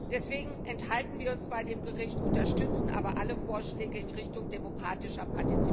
Deswegen enthalten wir uns bei dem Bericht, unterstützen aber alle Vorschläge in Richtung demokratischer Partizipation.